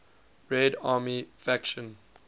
red army faction